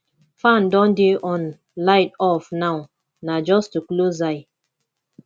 fan don dey on light off now na just to close eye